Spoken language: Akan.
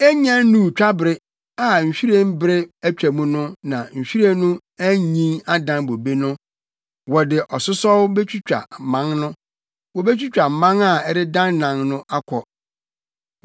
Ennya nnuu twabere, a nhwiren bere atwam no na nhwiren no anyin adan bobe no, wɔde asosɔw betwitwa mman no, wobetwitwa mman a ɛredennan no akɔ.